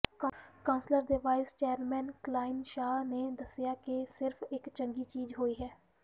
council ਦੇ vice chairman Colin Shah ਨੇ ਦੱਸਿਆ ਕਿ ਸਿਰਫ ਇਕ ਚੰਗੀ ਚੀਜ਼ ਹੋਈ ਹੈ